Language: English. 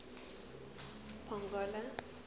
pongola